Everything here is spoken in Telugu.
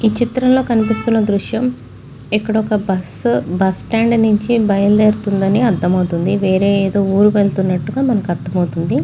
ఈ చిత్రంలో కనిపిస్తున్న దృశ్యం ఇక్కడ ఒక బస్సు బస్ స్టాండ్ నుంచి బయలుదేరుతుందని అర్థమవుతుంది. వేరే ఏదో ఊరు వెళ్తున్నట్టుగా మనకి అర్థమవుతుంది.